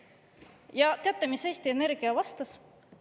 Ja teate, mis Eesti Energia vastas?